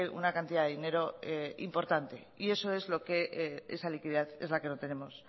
una cantidad de dinero importante y esa liquidez es la que no tenemos